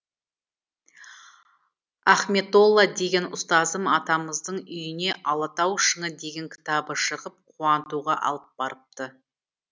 ахметолла деген ұстазым атамыздың үйіне алатау шыңы деген кітабы шығып қуантуға алып барыпты